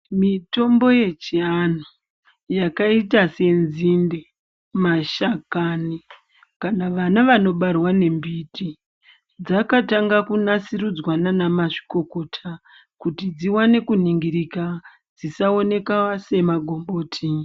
Mitombo yechiantu yakaita senzinde, mashakani kana vana vanobarwa ngembiti. Dzakatanga kunasirudzwa ndiana mazvikokota kuti dzivane kuningirika dzisaoneka semagomboti.